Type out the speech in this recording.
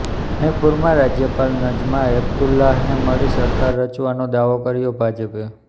મણિપુરમાં રાજ્યપાલ નઝમા હેપતુલ્લાહને મળી સરકાર રચવાનો દાવો કર્યો ભાજપે